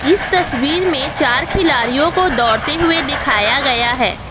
इस तस्वीर में चार खिलाड़ियों को दौड़ते हुए दिखाया गया है।